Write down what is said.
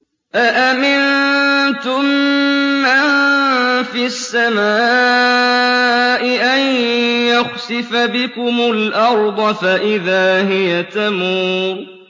أَأَمِنتُم مَّن فِي السَّمَاءِ أَن يَخْسِفَ بِكُمُ الْأَرْضَ فَإِذَا هِيَ تَمُورُ